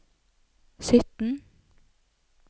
sytten